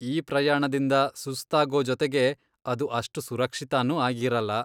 ಈ ಪ್ರಯಾಣದಿಂದ ಸುಸ್ತಾಗೋ ಜೊತೆಗೆ ಅದು ಅಷ್ಟು ಸುರಕ್ಷಿತನೂ ಆಗಿರಲ್ಲ.